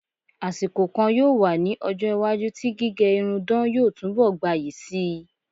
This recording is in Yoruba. Àsìkò kan yóò wá ní ọjọ́-iwájú tí gíge irun dán yóò túnbọ̀ gbayì síi.